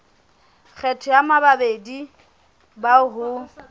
kgetho ya bamamedi bao ho